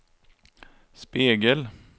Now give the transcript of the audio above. spegel